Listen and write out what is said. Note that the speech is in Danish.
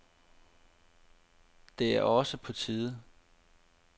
Det er også på tide.